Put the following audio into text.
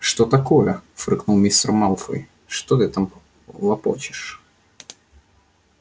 что такое фыркнул мистер малфой что ты там лопочешь